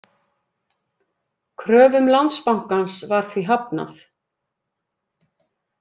Kröfum Landsbankans var því hafnað